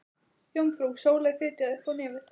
Jómfrú Sóley fitjaði upp á nefið.